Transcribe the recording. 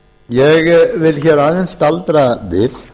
ég vil aðeins staldra við